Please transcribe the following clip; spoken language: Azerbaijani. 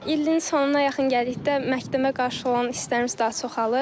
İlin sonuna yaxın gəldikdə məktəbə qarşı olan istərimiz daha çoxalır.